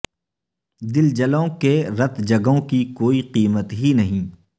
دل جلوں کے رتجگوں کی کوئی قیمت ہی نہیں